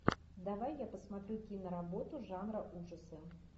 давай я посмотрю киноработу жанра ужасы